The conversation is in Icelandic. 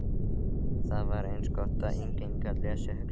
Það var eins gott að enginn gat lesið hugsanir mínar.